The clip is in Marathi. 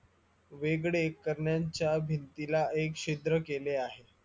वेगळे करण्याच्या भिंतीला एक छिद्र केले आहे